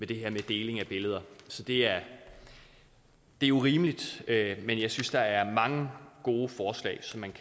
det her med deling af billeder så det er jo rimeligt men jeg synes der er mange gode forslag som man